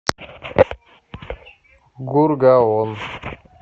гургаон